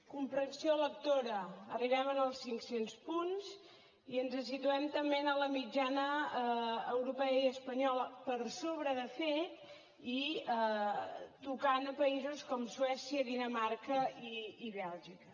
comprensió lectora arribem als cinc cents punts i ens situem també en la mitjana europea i espanyola per sobre de fet i tocant a països com suècia dinamarca i bèlgica